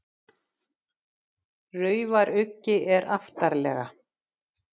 Raufaruggi er aftarlega.